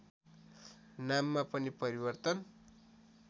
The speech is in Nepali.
नाममा पनि परिवर्तन